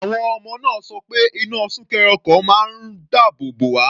Àwọn ọmọ náà sọ pé iná súnkẹrẹ ọkọ̀ máa ń dáàbò bò wá.